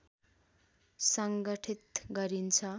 सङ्गठित गरिन्छ